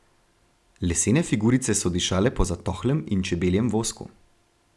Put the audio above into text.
Lesene figurice so dišale po zatohlem in čebeljem vosku.